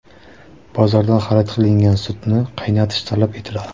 Bozordan xarid qilingan sutni qaynatish talab etiladi.